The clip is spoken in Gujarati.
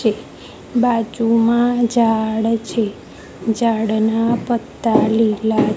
બાજુમાં ઝાડ છે ઝાડ ના પત્તા લીલા--